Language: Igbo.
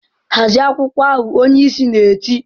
"Hazie akwụkwọ ahụ!" Onyeisi na-eti.